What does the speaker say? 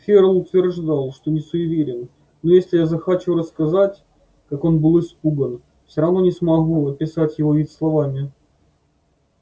ферл утверждал что не суеверен но если я захочу рассказать как он был испуган все равно не смогу описать его вид словами